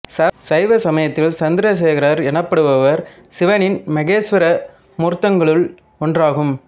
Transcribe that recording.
சைவ சமயத்தில் சந்திரசேகரர் எனப்படுபவர் சிவனின் மகேசுவர மூர்த்தங்களுள் ஒன்றாகும்